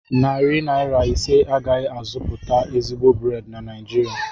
Narị naira ise agaghị azụtapụ ezigbo brèd na Naịjirịa